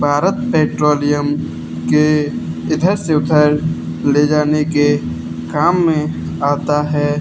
Bharat petroleum के इधर से उधर ले जाने के काम में आता है।